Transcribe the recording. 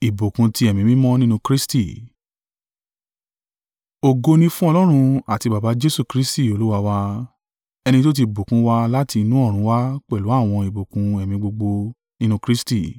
Ògo ni fún Ọlọ́run àti Baba Jesu Kristi Olúwa wa, ẹni tí ó ti bùkún wa láti inú ọ̀run wá pẹ̀lú àwọn ìbùkún ẹ̀mí gbogbo nínú Kristi.